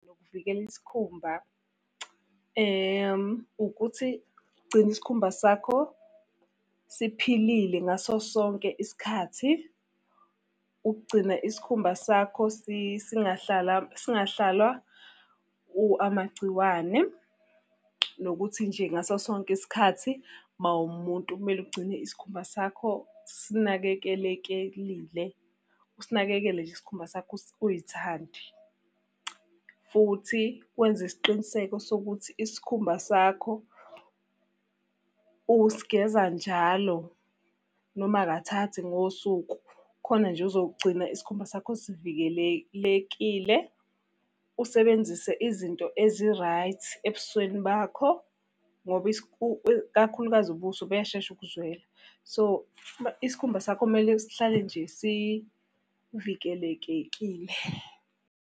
Ukuvikela isikhumba, ukuthi gcina isikhumba sakho siphilile ngaso sonke isikhathi. Ukugcina isikhumba sakho singahlala singahlalwa amagciwane, nokuthi nje ngaso sonke isikhathi uma umuntu kumele ugcine isikhumba sakho sinakekelekile. Usinakekele nje isikhumba sakho uy'thande. Futhi wenze isiqiniseko sokuthi isikhumba sakho usigeza njalo, noma kathathu ngosuku. Khona nje uzogcina isikhumba sakho sivikelelekile. Usebenzise izinto ezi-right ebusweni bakho, ngoba kakhulukazi ubuso buyashesha ukuzwela. So, isikhumba sakho kumele sihlale nje sivikelekekile.